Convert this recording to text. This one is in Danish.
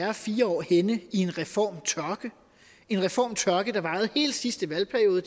er fire år henne i en reformtørke en reformtørke der varede hele sidste valgperiode